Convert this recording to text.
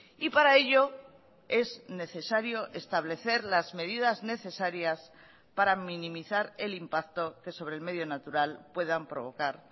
y para ello es necesario establecer las medidas necesarias para minimizar el impacto que sobre el medio natural puedan provocar